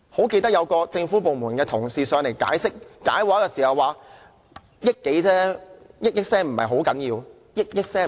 記得有一位政府部門的同事來到立法會解畫時說，撥款建議只涉及1億多元而已。